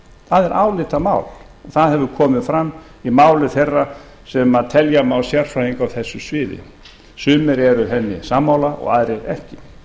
það er álitamál og það hefur komið fram í máli þeirra sem telja má sérfræðinga á þessu sviði sumir eru henni sammála og aðrir ekki